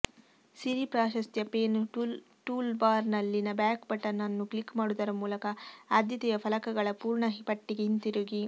ಸಿರಿ ಪ್ರಾಶಸ್ತ್ಯ ಪೇನ್ ಟೂಲ್ಬಾರ್ನಲ್ಲಿನ back button ಅನ್ನು ಕ್ಲಿಕ್ ಮಾಡುವುದರ ಮೂಲಕ ಆದ್ಯತೆಯ ಫಲಕಗಳ ಪೂರ್ಣ ಪಟ್ಟಿಗೆ ಹಿಂತಿರುಗಿ